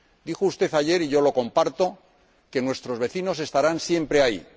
Dijo usted ayer y yo lo comparto que nuestros vecinos estarán siempre ahí.